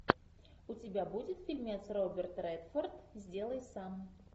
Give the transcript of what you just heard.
у тебя будет фильмец роберт редфорд сделай сам